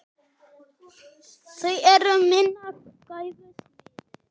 Þau eru minnar gæfu smiðir.